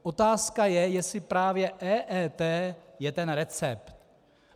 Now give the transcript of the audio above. Otázka je, jestli právě EET je ten recept.